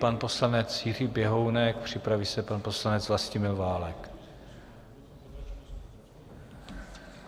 Pan poslanec Jiří Běhounek, připraví se pan poslanec Vlastimil Válek.